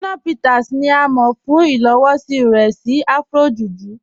Shina Peters ni à mọ̀ fún ilowọ̀sí rẹ̀ sí Afro-Juju.